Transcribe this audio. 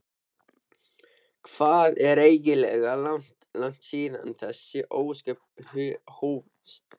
Hvað er eiginlega langt síðan þessi ósköp hófust?